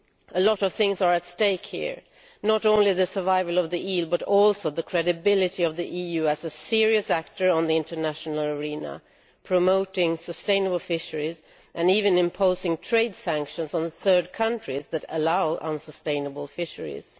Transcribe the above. A lot of things are at stake here, not only the survival of the eel but also the credibility of the EU as a serious player on the international arena, promoting sustainable fisheries and even imposing trade sanctions on third countries that allow unsustainable fisheries.